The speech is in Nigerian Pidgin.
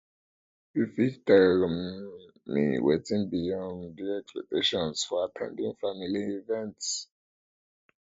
you fit tell um me wetin be um di expectations for at ten ding family events